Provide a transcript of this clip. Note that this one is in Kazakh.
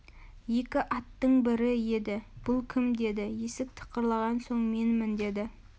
екі аттың бірі еді бұл кім деді есік тықырлаған соң менмін деді